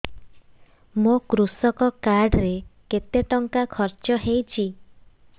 ମୋ କୃଷକ କାର୍ଡ ରେ କେତେ ଟଙ୍କା ଖର୍ଚ୍ଚ ହେଇଚି